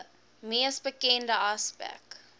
mees bekende aspek